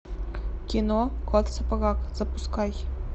кино кот в сапогах запускай